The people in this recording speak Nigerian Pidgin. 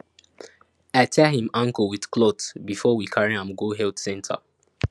i tie him ankle with cloth before we carry am go health center